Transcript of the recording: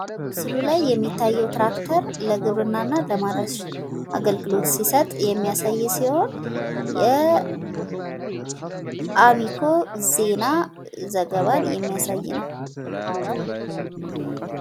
ምስሉ ላይ የሚታየው ትራክተር ለግብርና እና ለማረስ አገልግሎት ሲሰጥ የሚያሳይ ሲሆን የአሚኮ ዜና ዘገባን የሚያሳይ ነው።